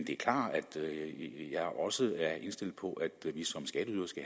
også er indstillet på